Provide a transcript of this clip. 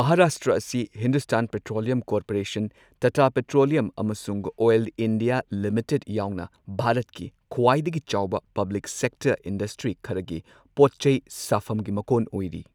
ꯃꯍꯥꯔꯥꯁꯇ꯭ꯔ ꯑꯁꯤ Hindustan petroleum corporation, Tata petroleum ꯑꯃꯁꯨꯡ oil India limited ꯌꯥꯎꯅ ꯚꯥꯔꯠꯀꯤ ꯈ꯭ꯋꯥꯏꯗꯒꯤ ꯆꯥꯎꯕ ꯄꯕ꯭ꯂꯤꯛ ꯁꯦꯛꯇꯔ ꯏꯟꯗꯁꯇ꯭ꯔꯤ ꯈꯔꯒꯤ ꯄꯣꯠ ꯆꯩ ꯁꯥꯐꯝꯒꯤ ꯃꯀꯣꯟ ꯑꯣꯏꯔꯤ꯫